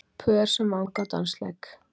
Pör sem vanga á dansleik.